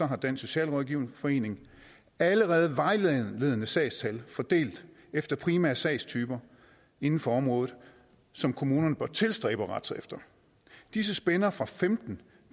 har dansk socialrådgiverforening allerede vejledende sagstal fordelt efter primære sagstyper inden for området som kommunerne bør tilstræbe at rette sig efter disse spænder fra femten